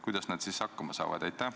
Kuidas nad siis hakkama saavad?